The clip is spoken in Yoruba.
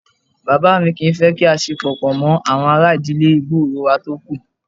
Bàbá mi kì í fẹ́ kí a ṣe pọ̀ pọ̀ mọ́ àwọn ará ìdílé gbòòrò wà tókù